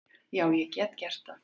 Já, ég get gert það.